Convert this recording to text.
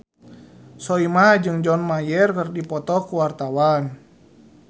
Soimah jeung John Mayer keur dipoto ku wartawan